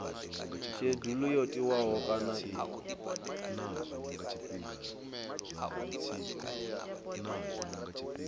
shedulu yo tiwaho kana i